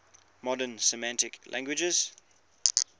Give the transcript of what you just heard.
modern semitic languages